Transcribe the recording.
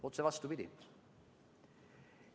Otse vastupidi.